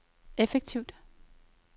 effektivt